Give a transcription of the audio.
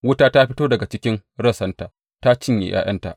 Wuta ta fito daga jikin rassanta ta cinye ’ya’yanta.